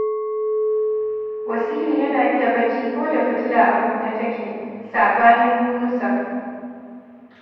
Wasilu yana iya barci ko da fitila a kunne take, saɓanin Yunusa